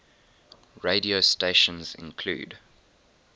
radio stations include